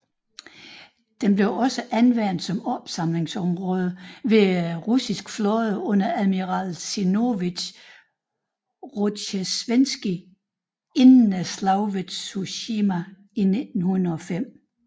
Den blev også anvendt som opsamlingsområde for den Russiske flåde under admiral Zinovij Rozjestvenskij inden slaget ved Tsushima i 1905